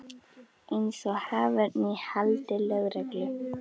Eins og haförn í haldi lögreglu.